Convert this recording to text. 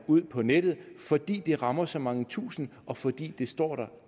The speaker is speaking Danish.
ud på nettet fordi de rammer så mange tusinde og fordi de står der